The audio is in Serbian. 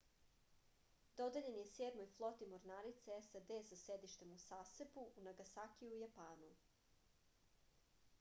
dodeljen je sedmoj floti mornarice sad sa sedištem u sasebu u nagasakiju u japanu